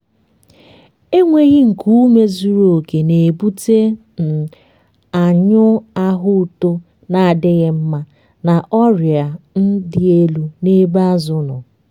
enweghi nku ume zuru oke na-ebute um anyụm ahụ uto na-adịghị mma na ọrịa um dị elu n’ebe azụ nọ.